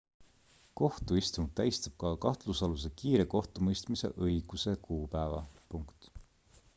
kohtuistung tähistab ka kahtlusaluse kiire kohtumõistmise õiguse kuupäeva